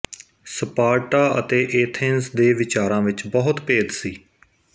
Sparta ਅਤੇ Athens ਦੇ ਵਿਚਾਰਾਂ ਵਿੱਚ ਬਹੁਤ ਭੇਦ ਸੀ